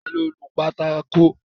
Ta ló nu pátákó?